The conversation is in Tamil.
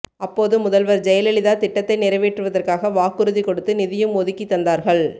அப்போது முதல்வர் ஜெயலலிதா திட்டத்தை நிறைவேற்றுவதற்காக வாக்குறுதி கொடுத்து நிதியும் ஒதுக்கி தந்தார்கள்